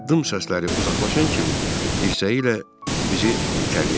Addım səsləri uzaqlaşan kimi dirsəyi ilə bizi itələyəcək.